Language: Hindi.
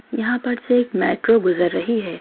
यहां पर से एक मेट्रो गुजर रही है।